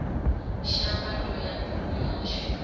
shavha ndo ya nduni yashu